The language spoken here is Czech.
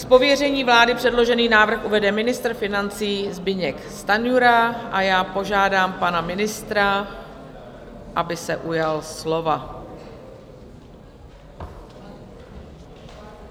Z pověření vlády předložený návrh uvede ministr financí Zbyněk Stanjura a já požádám pana ministra, aby se ujal slova.